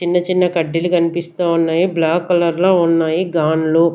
చిన్న చిన్న కడ్డీలు కన్పిస్తా ఉన్నాయి బ్లాక్ కలర్లో లో ఉన్నాయి గాండ్లు.